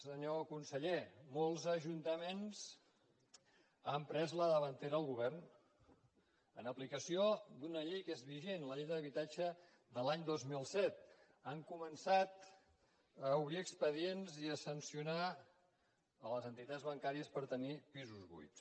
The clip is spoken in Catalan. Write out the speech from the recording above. senyor conseller molts ajuntaments han pres la davantera al govern en aplicació d’una llei que és vigent la llei d’habitatge de l’any dos mil set han començat a obrir expedients i a sancionar les entitats bancàries per tenir pisos buits